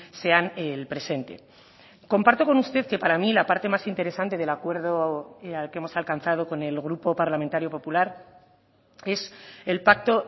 sean el presente comparto con usted que para mí la parte más interesante del acuerdo al que hemos alcanzado con el grupo parlamentario popular es el pacto